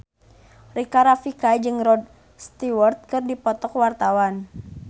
Rika Rafika jeung Rod Stewart keur dipoto ku wartawan